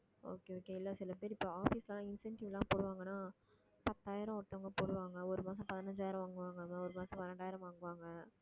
okay, okay இல்ல சில பேர் இப்போ office ல எல்லாம் incentive எல்லாம் போடுவாங்கன்னா பத்தாயிரம் ஒருத்தவங்க போடுவாங்க ஒரு மாசம் பதினஞ்சாயிரம் வாங்குவாங்க ஒரு மாசம் பன்னிரண்டாயிரம் வாங்குவாங்க